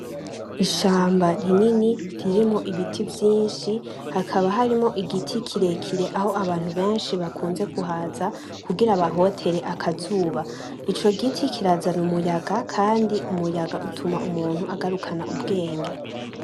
Ishamba rinini ririmwo ibiti vyinshi, hakaba harimwo igiti kirekire aho abantu benshi bakunze kuhaza kugira bahotere akazuba, ico giti kirazana umuyaga Kandi umuyaga utuma umuntu agarukana ubwenge .